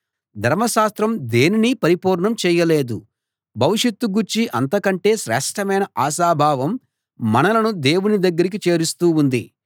ధర్మశాస్త్రం దేనినీ పరిపూర్ణం చేయలేదు భవిష్యత్తు గూర్చి అంత కంటే శ్రేష్ఠమైన ఆశాభావం మనలను దేవుని దగ్గరికి చేరుస్తూ ఉంది